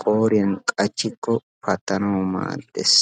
qooriya qachchin patanaw maaddees.